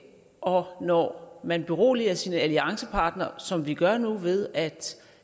og når man beroliger sine alliancepartnere som vi gør nu ved at